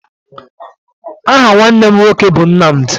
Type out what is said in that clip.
Aha nwanne m nwoke bụ Nnamdị